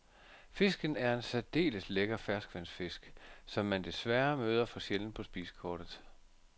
Fisken er en særdeles lækker ferskvandsfisk, som man desværre møder for sjældent på spisekortet.